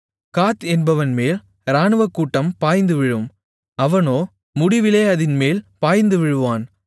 காத் என்பவன்மேல் ராணுவக்கூட்டம் பாய்ந்துவிழும் அவனோ முடிவிலே அதின்மேல் பாய்ந்துவிழுவான்